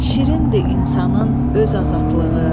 Şirindir insanın öz azadlığı,